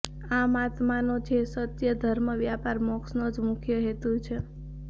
આમ આત્માનો જે સત્ય ધર્મ વ્યાપાર મોક્ષનો જ મુખ્ય હેતુ છે